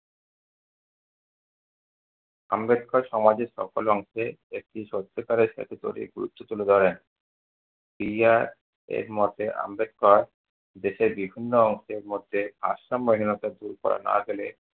আম্বেদকর সমাজের সকল অংশে একটি সত্যিকারে তুলে ধরেন। এর মতে আম্বেদকর দেশের বিভিন্ন অংশের মধ্যে ভারসাম্যহীনতা দূর করা না গেলে-